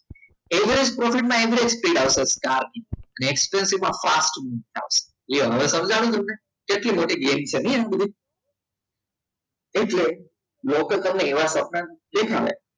average profit માં average profit આપશે અને expansive માં fast move થશે હવે સમજણ તમને કેટલી મોટી ગેમ છે તો એટલે લોકો તમને એવા સપના દેખાડે